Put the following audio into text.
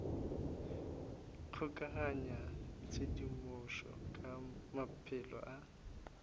kgokaganya tshedimošo ka maphelo a